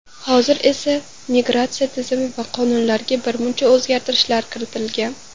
Hozir esa migratsiya tizimi va qonunlariga birmuncha o‘zgartirishlar kiritilgan.